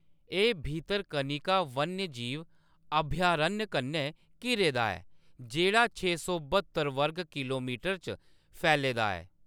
एह्‌‌ भितरकनिका वन्यजीव अभयारण्य कन्नै घिरे दा ऐ, जेह्‌‌ड़ा छे सौ ब्हत्तर वर्ग किलोमीटर च फैले दा ऐ।